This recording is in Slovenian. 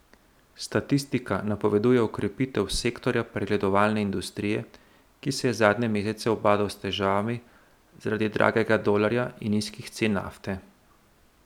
Statistika napoveduje okrepitev sektorja predelovalne industrije, ki se je zadnje mesece ubadal s težavami zaradi dragega dolarja in nizkih cen nafte.